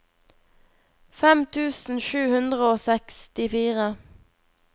fem tusen sju hundre og sekstifire